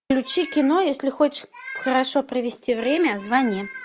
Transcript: включи кино если хочешь хорошо провести время звони